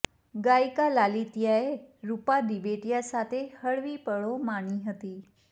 ગાયિકા લાલિત્યાએ રુપા દિવેટિયા સાથે હળવી પળો માણી હતી